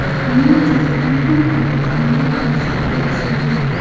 ning jasadini ham O‘zbekistonga yuborishga erishilgan.